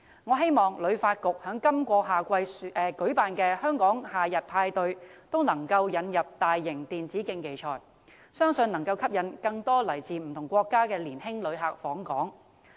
我希望香港旅遊發展局在今年夏季舉辦的"香港夏日派對"，能夠引入大型電子競技賽，相信能夠吸引更多來自不同國家的年輕旅客訪港。